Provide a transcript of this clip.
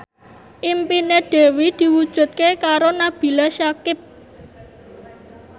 impine Dewi diwujudke karo Nabila Syakieb